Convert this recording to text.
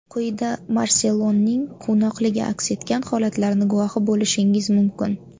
Quyida Marseloning quvnoqligi aks etgan holatlarni guvohi bo‘lishingiz mumkin.